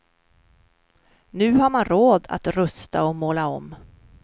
Nu har man råd att rusta och måla om.